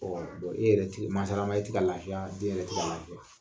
e yɛrɛ mansala maa, e tɛ ka lafiya , den yɛrɛ tɛ ka lafiya.